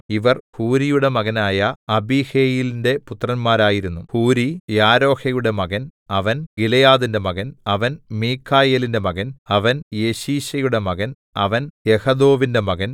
ഇവർ ഹൂരിയുടെ മകനായ അബിഹയീലിന്റെ പുത്രന്മാരായിരുന്നു ഹൂരി യാരോഹയുടെ മകൻ അവൻ ഗിലെയാദിന്റെ മകൻ അവൻ മീഖായേലിന്റെ മകൻ അവൻ യെശീശയുടെ മകൻ അവൻ യഹദോവിന്റെ മകൻ